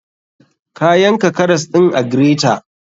Ka yanka karas ɗin a greter.